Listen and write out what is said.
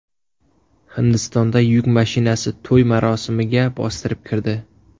Hindistonda yuk mashinasi to‘y marosimiga bostirib kirdi.